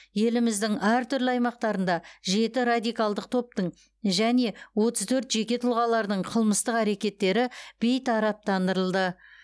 еліміздің әр түрлі аймақтарында жеті радикалдық топтың және отыз төрт жеке тұлғалардың қылмыстық әрекеттері бейтараптандырылды